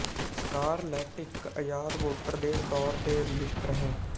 scarlet ਇੱਕ ਆਜ਼ਾਦ voter ਦੇ ਤੌਰ ਤੇ ਰਜਿਸਟਰ ਹੈ